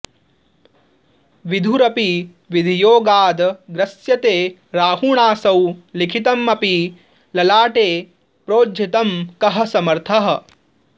विधुरपि विधियोगाद्ग्रस्यते राहुणासौ लिखितमपि ललाटे प्रोज्झितं कः समर्थः